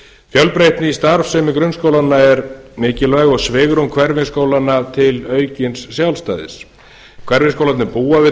fjölbreytni í starfsemi grunnskólanna er mikilvæg og svigrúm hverfisskólanna til aukins sjálfstæðis hverfisskólarnir búa við